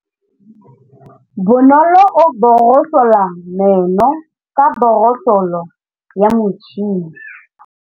Bonolô o borosola meno ka borosolo ya motšhine.